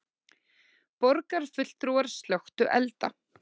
Borgarfulltrúar slökktu elda